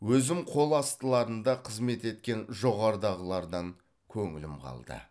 өзім қол астыларында қызмет еткен жоғарыдағылардан көңілім қалды